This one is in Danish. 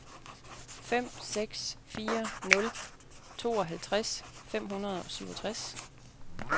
fem seks fire nul tooghalvtreds fem hundrede og syvogtres